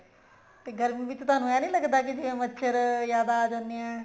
ਤੇ ਗਰਮੀ ਵਿੱਚ ਤੁਹਾਨੂੰ ਏਵੇਂ ਨੀ ਲੱਗਦਾ ਵੀ ਮੱਛਰ ਜਿਆਦਾ ਆ ਜਾਂਦੇ ਆ